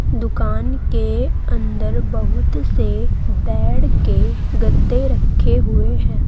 दुकान के अंदर बहुत से बेड की गद्दे रखे हुए हैं।